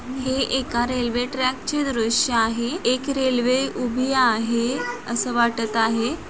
हैं एका railway track चे दृश्य आहे एक रेल्वे उभी आहे अस वाटत आहे.